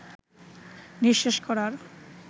নিঃশেষ করার